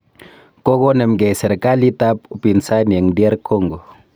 Kokonomkei serkalit ak upinsani eng DR Congo